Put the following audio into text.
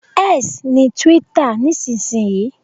X ni twitter nísinsìnyí